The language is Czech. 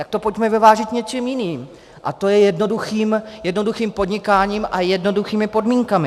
Tak to pojďme vyvážit něčím jiným, a to je jednoduchým podnikáním a jednoduchými podmínkami.